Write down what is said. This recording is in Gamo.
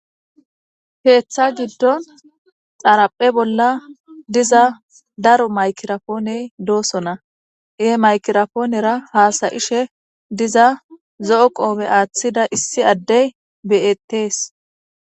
Keththa gidon xaraphphe bolla daro micraponey des he maiciroponera hasayiza issi zo"o qofe wothada adey des